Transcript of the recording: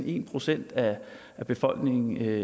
en procent af befolkningen